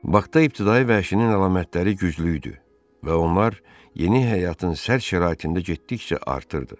Baxda ibtidai vəhşinin əlamətləri güclü idi və onlar yeni həyatın sərt şəraitində getdikcə artırdı.